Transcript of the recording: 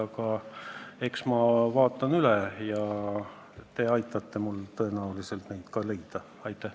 Aga eks ma vaatan üle ja te aitate mul tõenäolisel neid allikaid leida.